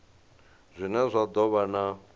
zwine zwa do vha na